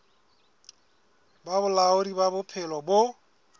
ba bolaodi ba bophelo bo